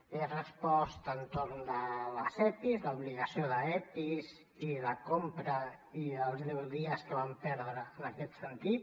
li he respost sobre els epis l’obligació d’epis i la compra i els deu dies que vam perdre en aquest sentit